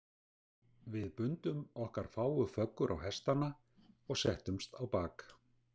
Við bundum okkar fáu föggur á hestana og settumst á bak.